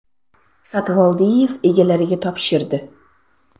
Satvoldiyev egalariga topshirdi.